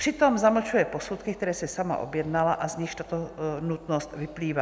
Přitom zamlčuje posudky, které si sama objednala a z nichž tato nutnost vyplývá.